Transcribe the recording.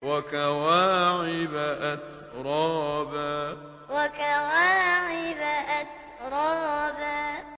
وَكَوَاعِبَ أَتْرَابًا وَكَوَاعِبَ أَتْرَابًا